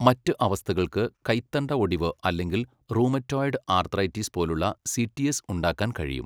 മറ്റ് അവസ്ഥകൾക്ക് കൈത്തണ്ട ഒടിവ് അല്ലെങ്കിൽ റൂമറ്റോയ്ഡ് ആർത്രൈറ്റിസ് പോലുള്ള സി.ടി.എസ് ഉണ്ടാക്കാൻ കഴിയും.